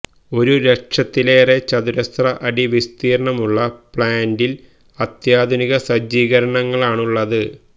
ഒരു ലക്ഷത്തിലേറെ ചതുരശ്ര അടി വിസ്തീര്ണമുള്ള പ്ലാന്റില് അത്യാധുനിക സജ്ജീകരണങ്ങളാണുള്ളത്